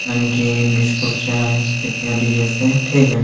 नमकीन बिस्कुट चाय फिर कह लीजिये इसे ठीक है।